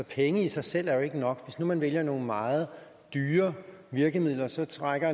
penge i sig selv er jo ikke nok hvis nu man vælger nogle meget dyre virkemidler så strækker